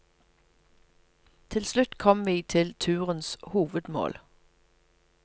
Til slutt kom vi til turens hovedmål.